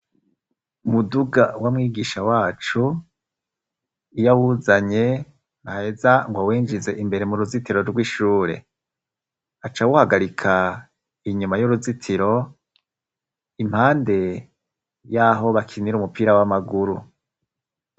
Umuduga w'amwigisha wacu iyo awuzanye ntaheza ngo awenjize imbere mu ruzitiro rw'ishure aca uhagarika inyuma y'uruzitiro impande y'aho bakinira umupira w'amaguru.